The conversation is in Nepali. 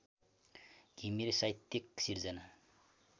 घिमिरे साहित्यिक सिर्जना